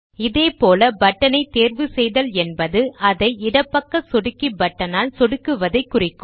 இதேபோல் பட்டன் ஐ தேர்வு செய்தல் என்பது அதை இடப்பக்க சொடுக்கி பட்டனால் சொடுக்குவதைக் குறிக்கும்